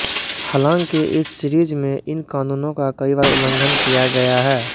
हालांकि इस सीरीज में इन कानूनों का कई बार उल्लंघन किया गया है